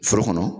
Foro kɔnɔ